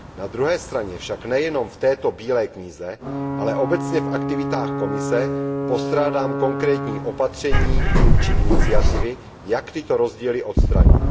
Na druhé straně však nejenom v této bílé knize, ale obecně v aktivitách Komise postrádám konkrétní opatření či iniciativy, jak tyto rozdíly odstranit.